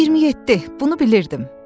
27, bunu bilirdim.